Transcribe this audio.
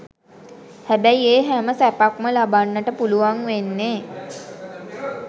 හැබැයි ඒ හැම සැපක්ම ලබන්නට පුළුවන් වෙන්නේ